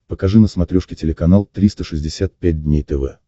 покажи на смотрешке телеканал триста шестьдесят пять дней тв